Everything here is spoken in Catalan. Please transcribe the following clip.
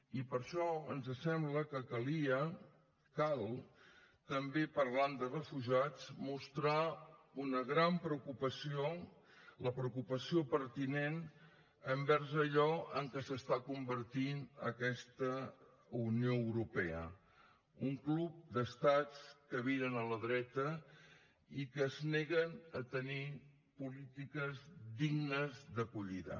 i per això ens sembla que calia cal també parlant de refugiats mostrar una gran preocupació la preocupació pertinent envers allò en què es converteix aquesta unió europea un club d’estats que viren a la dreta i que es neguen a tenir polítiques dignes d’acollida